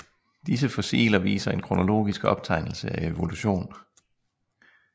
Disse fossiler viser en kronologisk optegnelse af evolution